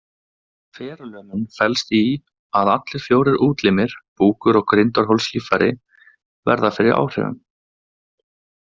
Ferlömun felst í að allir fjórir útlimir, búkur og grindarholslíffæri verða fyrir áhrifum.